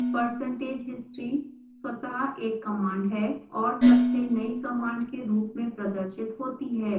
percentage history स्वतः एक command है और सबसे नई कमांड के रूप में प्रदर्शित होती है